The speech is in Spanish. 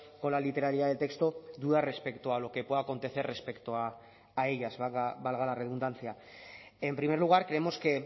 con la literalidad del texto dudas respecto a lo que pueda acontecer respecto a ellas valga la redundancia en primer lugar creemos que